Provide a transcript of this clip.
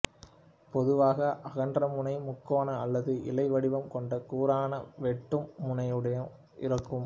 பொதுவாக அகன்றமுனை முக்கோண அல்லது இலை வடிவம் கொண்ட கூரான வெட்டும் முனையுடன் இருக்கும்